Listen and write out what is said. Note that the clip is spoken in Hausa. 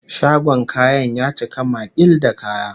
Shagon kayan ya cika maƙil da kaya